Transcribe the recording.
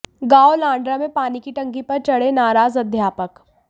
गांव लांडरा में पानी की टंकी पर चढ़े नाराज अध्यापक